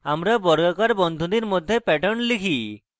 আমরা বর্গাকার বন্ধনীর মধ্যে pattern লিখি